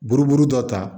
Buruburu dɔ ta